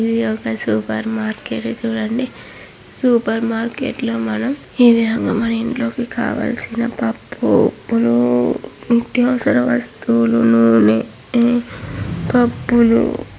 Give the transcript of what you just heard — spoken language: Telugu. ఇది ఒక సూపర్ మార్కెట్ చూడండి. సూపర్ మార్కెట్ లో మనం మన ఇంట్లో కావాల్సిన పప్పు ఉప్పులు నిత్యావసర వస్తువులు నూనె పప్పులు--